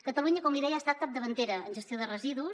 catalunya com li deia ha estat capdavantera en gestió de residus